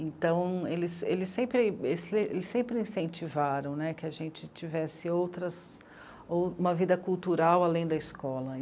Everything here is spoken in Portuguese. Então, eles, eles sempre, eles sempre incentivaram que a gente tivesse outras... uma vida cultural além da escola.